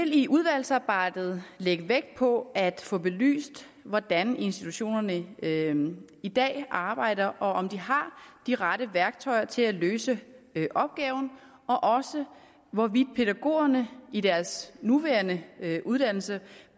i udvalgsarbejdet lægge vægt på at få belyst hvordan institutionerne i dag arbejder og om de har de rette værktøjer til at løse opgaven og også hvorvidt pædagogerne i deres nuværende uddannelse